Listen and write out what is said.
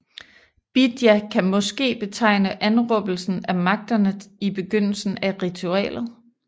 Bidja kan måske betegne anråbelsen af magterne i begyndelsen af ritualet